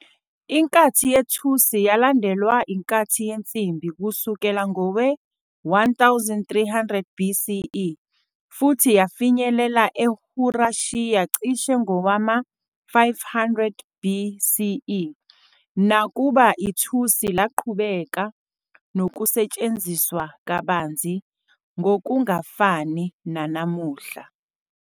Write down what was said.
Inkathi yethusi yalandelwa inkathi yensimbi kusuka ngowe-1300 BCE futhi yafinyelela eYurashiya cishe ngowama-500 BCE, nakuba ithusi laqhubeka nokusetshenziswa kabanzi ngokungafani nanamuhla.